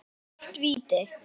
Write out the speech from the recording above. Klárt víti!